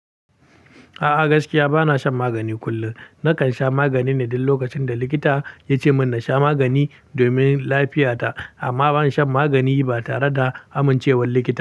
A'a gaskiya bana shan magani kullum. Nakan sha magani ne duk lokacin da likita ya ce min na sha magani domin lafiyata. Amma ban shan magani ba tare da amincewar likita.